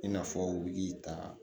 I n'a fɔ u bi ta